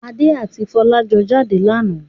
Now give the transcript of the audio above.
Adé àti Fọlá jọ jáde lánàá.